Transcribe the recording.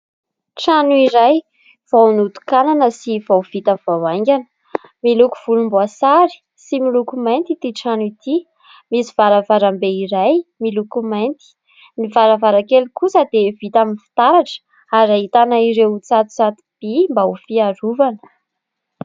Trano iray vao notokanana sy vao vita vao aingana. Miloko volomboasary sy miloko mainty ity trano ity, misy varavarambe iray miloko mainty, ny varavarakely kosa dia vita amin'ny fitaratra ary ahitana ireo mitsatotsato-by mba ho fiarovana.